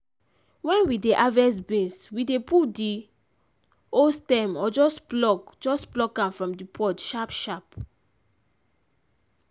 when we dey harvest beans we dey pull the whole stem or just pluck just pluck am from the pod sharp sharp.